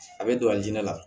A bɛ don a jinɛ la